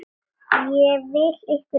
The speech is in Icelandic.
Ég vil ykkur vel.